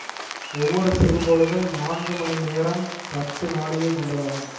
ஒவ்வொரு சிறுபொழுதும் நான்கு மணி நேரம்பத்து நாழிகை கொண்டதாகும்